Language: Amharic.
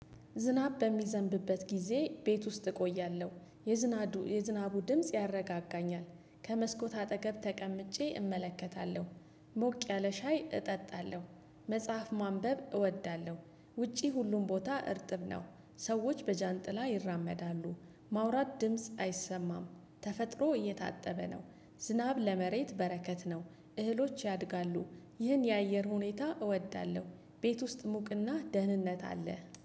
ዝናብ በሚዘንብበት ጊዜ ቤት ውስጥ እቆያለሁ የዝናቡ የዝናቡ ድምጽ ያረጋጋኛል ከመስኮት አጠገብ ተቀምጬ እመለከታለሁ ሞቅ ያለ ሻይ እጠጣለሁ መጽሐፍ ማንበብ እወዳለሁ። ውጪ ሁሉም ቦታ እርጥብ ነው። ሰዎች በጃንጥላ ይራመዳሉ። ማውራት ድምጽ አይሰማም። ተፈጥሮ እየታጠበ ነው። ዝናብ ለመሬት በረከት ነው። እህሎች ያድጋሉ። ይህን የአየር ሁኔታ እወዳለሁ። ቤት ውስጥ ሙቅና ደህንነት አለ